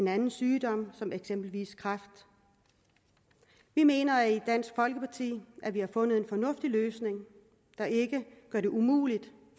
anden sygdom som eksempelvis kræft vi mener i dansk folkeparti at vi har fundet en fornuftig løsning der ikke gør det umuligt